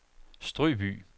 Strøby